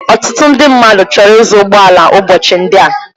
Ọtụtụ ndị mmadụ chọrọ ịzụ ụgbọ ala ụbọchị ndị a.